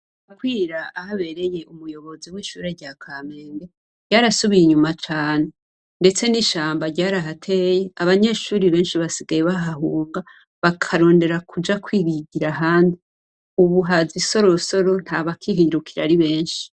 Bukwira, aho abereye umuyobozi w'ishure rya Kamenge, ryarasubiye inyuma cane. Ndetse n'ishamba ryarahateye, abanyeshuri benshi basigayr bahahunga, bakrondera kuja kwiyigira ahandi. Ubu haza isorosoro ntabakiruhikira ari benshi.